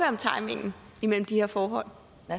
om timingen imellem de her forhold